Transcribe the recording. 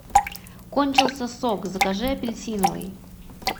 кончился сок закажи апельсиновый